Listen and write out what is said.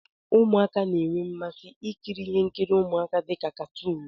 Ụmụaka na-enwe mmasị ikiri ihe nkiri ụmụaka dị ka katuun.